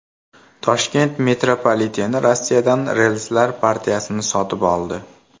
Toshkent metropoliteni Rossiyadan relslar partiyasini sotib oldi.